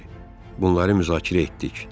Bunları müzakirə etdik.